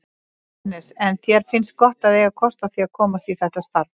Jóhannes: En þér finnst gott að eiga kost á því að komast í þetta starf?